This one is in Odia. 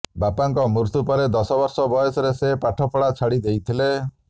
ବାପାଙ୍କ ମୃତ୍ୟୁ ପରେ ଦଶ ବର୍ଷ ବୟସରେ ସେ ପାଠ ପଢା ଛାଡ଼ି ଦେଇଥିଲେ